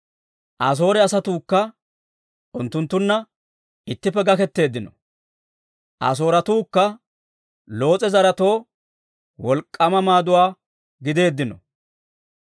Asoore asatuukka unttunttunna ittippe gakketeeddino; Asooratuukka Loos'e zaretoo wolk'k'aama maaduwaa gideeddino.